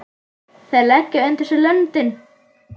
Þeir leggja undir sig löndin!